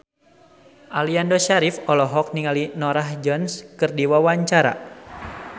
Aliando Syarif olohok ningali Norah Jones keur diwawancara